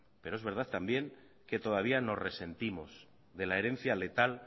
pero es verdad también que todavía nos resentimos de la herencia letal